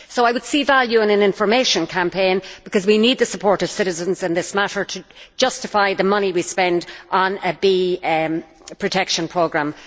So I would see value in an information campaign, because we need the support of citizens in this matter to justify the money we spend on a bee protection programme.